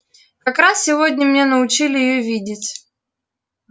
как раз сегодня меня научили её видеть